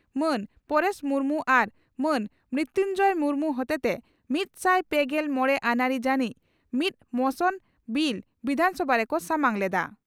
ᱢᱟᱱ ᱯᱚᱨᱮᱥ ᱢᱩᱨᱢᱩ ᱟᱨ ᱢᱟᱱ ᱢᱨᱤᱛᱩᱧᱡᱚᱭ ᱢᱩᱨᱢᱩ ᱦᱚᱛᱮᱛᱮ ᱢᱤᱛᱥᱟᱭ ᱯᱮᱜᱮᱞ ᱢᱚᱲᱮ ᱟᱹᱱᱟᱹᱨᱤ ᱡᱟᱹᱱᱤᱡ ᱢᱤᱫ ᱢᱚᱥᱚᱱ (ᱵᱤᱞ) ᱵᱤᱫᱷᱟᱱᱥᱚᱵᱷᱟ ᱨᱮᱠᱚ ᱥᱟᱢᱟᱝ ᱞᱮᱫᱼᱟ ᱾